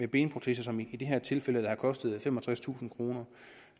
benprotese som i det her tilfælde har kostet femogtredstusind kroner